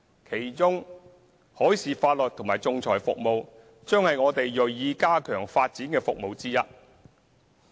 其中，海事法律和仲裁服務將是我們銳意加強發展的服務。